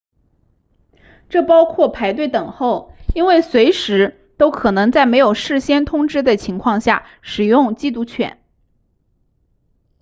这包括排队等候因为随时都可能在没有事先通知的情况下使用缉毒犬